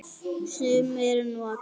Sumir nota